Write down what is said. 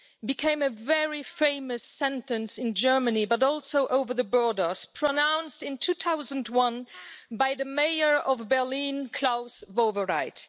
became a very famous sentence in Germany, but also over the borders, pronounced in 2001 by the mayor of Berlin, Klaus Wowereit.